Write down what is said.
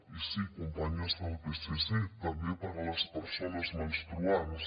i sí companyes del psc també per a les persones menstruants